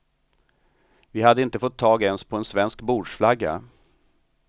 Vi hade inte fått tag ens på en svensk bordsflagga.